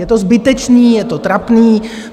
Je to zbytečné, je to trapné!